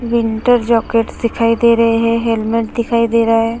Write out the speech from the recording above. Winter jackets दिखाई दे रहे हैं। हेलमेट दिखाई दे रहा है।